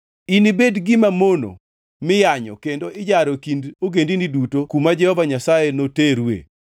Inibed gima mono miyanyo kendo ijaro e kind ogendini duto kuma Jehova Nyasaye noterue.